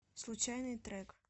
случайный трек